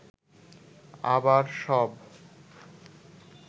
আবার সব